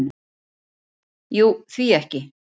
"""Jú, því ekki?"""